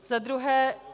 Za druhé.